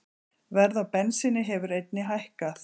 Verð á bensíni hefur einnig hækkað